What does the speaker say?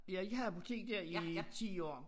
Ja jeg havde apotek dér i 10 år